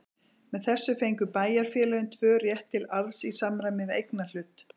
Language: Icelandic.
Með þessu fengu bæjarfélögin tvö rétt til arðs í samræmi við eignarhlut.